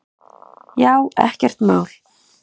Já, ekkert mál!